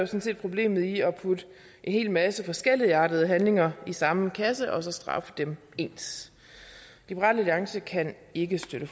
set problemet i at putte en hel masse forskelligartede handlinger i samme kasse og straffe dem ens liberal alliance kan ikke støtte